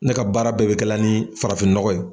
Ne ka baara bɛɛ bɛ kɛla ni farafin nɔgɔ ye.